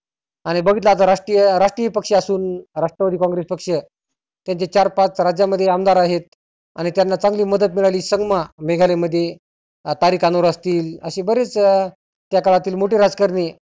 आणि बघितलं आता राष्ट्रिय राष्ट्रिय पक्षी असुन राष्ट्रवादी कॉंग्रेस पक्ष त्यांचे चार पाच राज्यामध्ये आमदार आहेत. आणि त्यांना चांगली मदत मिळाली संगमा मेघालय मध्ये तारीख आनुर असतील आसे बरेच त्या काळातील मोठे राजकारणी